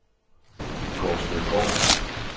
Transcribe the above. Gårdstedgård